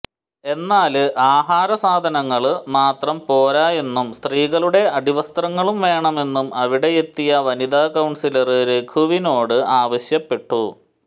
എന്നാല് ആഹാരസാധനങ്ങള് മാത്രം പോരായെന്നും സ്ത്രീകളുടെ അടിവസ്ത്രങ്ങളും വേണമെന്നും അവിടെയെത്തിയ വനിതാ കൌണ്സിലര് രഘുവിനോട് ആവശ്യപ്പെട്ടു